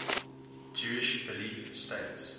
jewish belief states